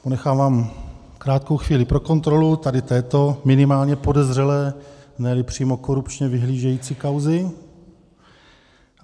Ponechávám krátkou chvíli pro kontrolu tady této minimálně podezřelé, ne-li přímo korupčně vyhlížející kauzy.